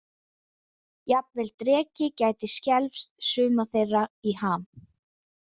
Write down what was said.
Jafnvel dreki gæti skelfst suma þeirra í ham.